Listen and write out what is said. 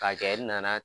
K'a kɛ i nana